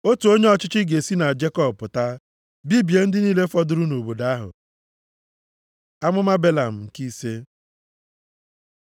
Otu onye ọchịchị ga-esi na Jekọb pụta. Bibie ndị niile fọdụrụ nʼobodo ahụ.” Amụma Belam nke ise